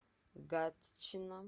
гатчина